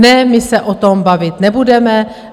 Ne, my se o tom bavit nebudeme.